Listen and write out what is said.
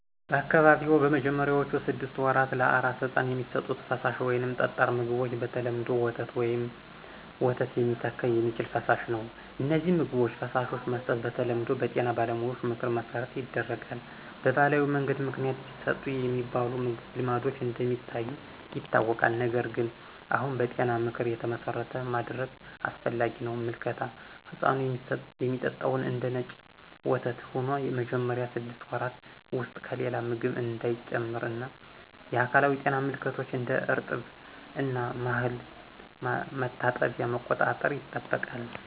በአካባቢዎ በመጀመሪያዎቹ ስድስት ወራት ለአራስ ሕፃን የሚሰጡት ፈሳሽ ወይም ጠጣር ምግቦች በተለምዶ ወተት ወይም ወተት ሚተካ የሚችል ፈሳሽ ነው። እነዚህን ምግቦች/ፈሳሾች መስጠት በተለምዶ በጤና ባለሙያዎች ምክር መሠረት ይደረጋል። በባህላዊ መንገድ ምክንያት ይሰጡ የሚባሉ ልማዶች እንደ ሚታዩ ይታወቃል፣ ነገር ግን አሁን በጤና ምክር የተመሠረተ ማድረግ አስፈላጊ ነው። ምልከታ ሕፃኑ የሚጠጣው እንደነጭ ወተት ሆኖ መጀመሪያ ስድስት ወራት ውስጥ ከሌላ ምግብ እንዳይጨምር እና የአካላዊ ጤና ምልከቶች (እንደ እርጥብ እና ማህል ማጠባበቂያ) መቆጣጠር ይጠበቃል።